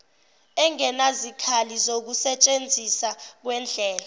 engenazikhali ukusentshenzisa kwendlela